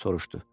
Soruşdu.